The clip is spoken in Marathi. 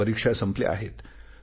आता परीक्षा संपल्या आहेत